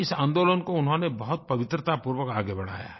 इस आंदोलन को उन्होंने बहुत पवित्रतापूर्वक आगे बढ़ाया है